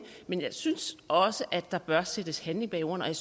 men jeg synes også der bør sættes handling bag ordene og jeg